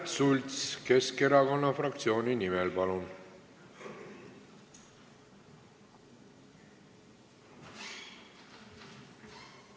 Märt Sults Keskerakonna fraktsiooni nimel, palun!